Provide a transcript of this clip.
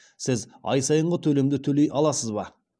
сіз ай сайынғы төлемді төлей аласыз ба